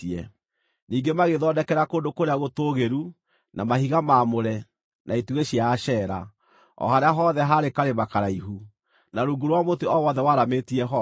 Ningĩ magĩĩthondekera kũndũ kũrĩa gũtũũgĩru, na mahiga maamũre, na itugĩ cia Ashera, o harĩa hothe haarĩ karĩma karaihu, na rungu rwa mũtĩ o wothe waramĩtie honge.